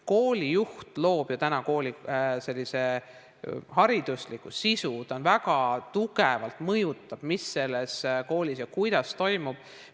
Koolijuht loob ju kooli haridusliku sisu, ta väga tugevalt mõjutab seda, mis ja kuidas selles koolis toimub.